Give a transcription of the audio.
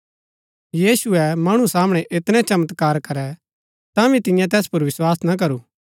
यीशुऐ मणु सामणै ऐतनै चमत्कार करै तांभी तियें तैस पुर विस्वास ना करू